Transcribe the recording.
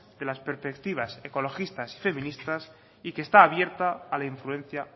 de las perspectivas ecologistas y feministas y que está abierta a la influencia